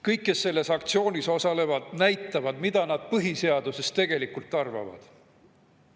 Kõik, kes selles aktsioonis osalevad, näitavad, mida nad põhiseadusest tegelikult arvavad.